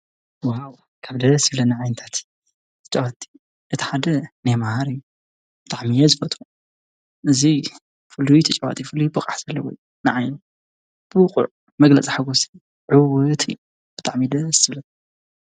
ዋው! ካብ ደስ ዝብለኒ ዓይነታት ተጫወቲ እቲ ሓደ ኔማር እዩ፡፡ ብጣዕሚ እየ ዝፈትዎ እዚ ፍሉይ ተፃዋቲ እዩ ፍሉይ ብቕዓት ዘለዎ ንዓይ ብቑዕ መግለፂ ሓጎስ ዕውት እዩ ብጣዕሚ እዩ ደስ ዝብለኒ እዩ፡፡